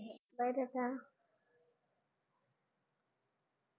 by Tata.